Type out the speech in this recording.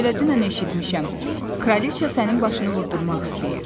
Mən elə dünən eşitmişəm, kraliçə sənin başını vurdurmaq istəyir.